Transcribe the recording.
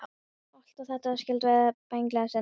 Allt á þetta meira skylt við byggingalist en nokkuð annað.